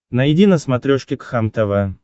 найди на смотрешке кхлм тв